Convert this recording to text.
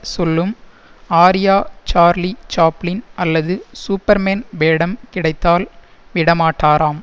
சொல்லும் Arya Charlie Chaplin அல்லது Superman வேடம் கிடைத்தால் விடமாட்டாராம்